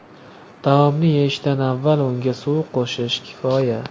Taomni yeyishdan avval unga suv qo‘shish kifoya.